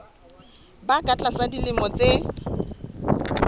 ba ka tlasa dilemo tse